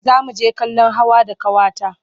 Za mu je kallon hawa da ƙawata.